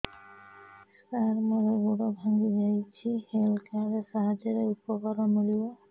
ସାର ମୋର ଗୋଡ଼ ଭାଙ୍ଗି ଯାଇଛି ହେଲ୍ଥ କାର୍ଡ ସାହାଯ୍ୟରେ ଉପକାର ମିଳିବ